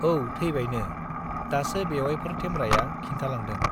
औ थैबायनो, दासो बेउवाइफोर थेमब्राया खिन्थालांदों।